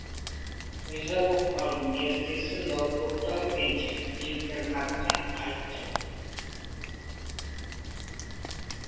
риза болып қалдым ертесі ноутбукты алып интернатқа қайттым